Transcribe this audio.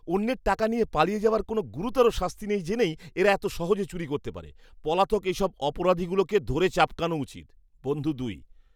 অন্যের টাকা নিয়ে পালিয়ে যাওয়ার কোনও গুরুতর শাস্তি নেই জেনেই এরা এত সহজে চুরি করতে পারে। পলাতক এসব অপরাধীগুলোকে ধরে চাবকানো উচিৎ। বন্ধু দুই